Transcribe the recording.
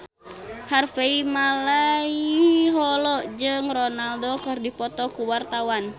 Harvey Malaiholo jeung Ronaldo keur dipoto ku wartawan